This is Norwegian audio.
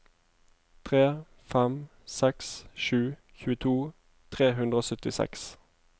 tre fem seks sju tjueto tre hundre og syttiseks